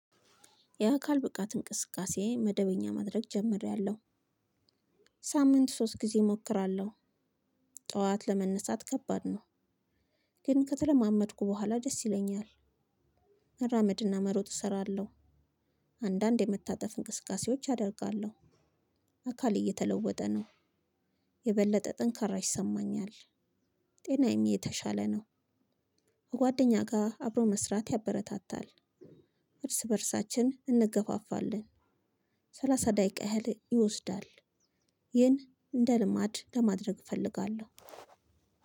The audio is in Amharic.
የአካል ብቃት እንቅስቃሴ መደበኛ ማድረግ ጀምሬያለሁ። ሳምንት ሶስት ጊዜ እሞራለሁ ጠዋት ለመነሳት ከባድ ነው። ግን ከተለማመድኩ በኋላ ደስ ይለኛል። መራመድ እና መሮጥ እሰራለሁ አንዳንድ የመታጠፍ እንቅቃሴውዎች አደርጋለሁ አካሌ እየተለወጠ ነው። የበለጠ ጥንካራ ይሰማኛል ጤናም የተሻለ ነው ከጓደኛ ጋር አብሮ መስራት ያበረታታል እርስ በእርሳችን እንገፋፋለን ሰላሳ ደቂቃ ያህል ይወስዳል። ይህን እንደ ልማድ ለማድረግ እፈልጋለሁ።